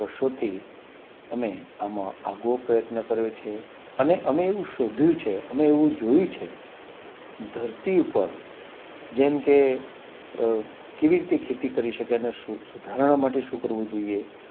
અમે આમ આગો પ્રયત્ન કર્યો છે અને અમે એવું શોધ્યું છે અમે એવું જોયું છે ધરતી ઉપર જેમ કે કેવી રીતે ખેતી કરી શકે અને સુધારણા માટે શું કરવું જોઈએ